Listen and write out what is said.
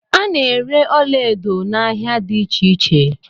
A na-ere ọlaedo n'ahia dị iche iche.